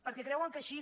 perquè creuen que així